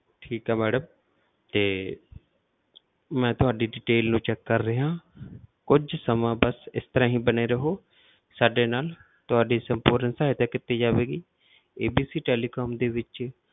ਠੀਕ ਹੈ madam ਤੇ ਮੈਂ ਤੁਹਾਡੀ detail ਨੂੰ check ਕਰ ਰਿਹਾਂ ਕੁਛ ਸਮਾਂ ਬਸ ਇਸ ਤਰ੍ਹਾਂ ਹੀ ਬਣੇ ਰਹੋ ਸਾਡੇ ਨਾਲ ਤੁਹਾਡੀ ਸਪੂਰਨ ਸਹਾਇਤਾ ਕੀਤੀ ਜਾਵੇਗੀ ABC Telecom ਦੇ ਵਿੱਚ